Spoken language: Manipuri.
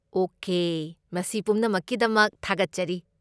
ꯑꯣꯀꯦ, ꯃꯁꯤ ꯄꯨꯝꯅꯃꯛꯀꯤꯗꯃꯛ ꯊꯥꯒꯠꯆꯔꯤ꯫